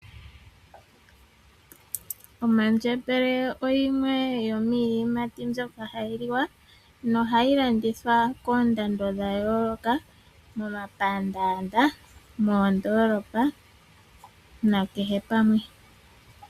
Omandjembele oyimwe yomiiyimati mbyoka hayi liwa no hayi landithwa pomahala gayooloka momapandaanda, moondoolopa na palwe.